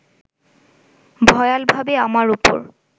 ভয়ালভাবে আমার ওপর